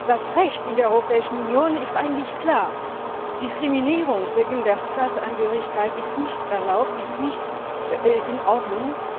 Das Recht in der Europäischen Union ist eigentlich klar Diskriminierung wegen der Staatsangehörigkeit ist nicht erlaubt, ist nicht in Ordnung.